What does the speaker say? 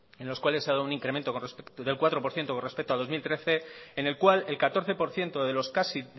en los cuales se ha dado un incremento del cuatro por ciento con respecto a dos mil trece en el cual el catorce por ciento de los